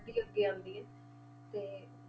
ਹੀ ਅੱਗੇ ਆਉਂਦੀ ਹੈ, ਤੇ